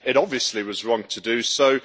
It obviously was wrong to do so.